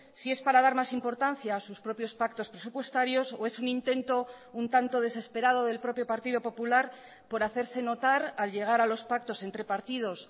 si es para dar más importancia a sus propios pactos presupuestarios o es un intento un tanto desesperado del propio partido popular por hacerse notar al llegar a los pactos entre partidos